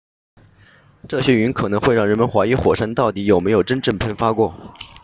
这些云可能会让人们怀疑火山到底有没有真正喷发过